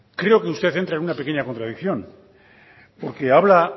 creo que usted entra en una pequeña contradicción porque habla